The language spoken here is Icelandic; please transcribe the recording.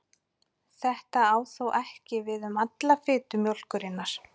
Þetta á þó ekki við um alla fitu mjólkurinnar.